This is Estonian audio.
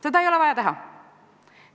Seda ei ole vaja teha.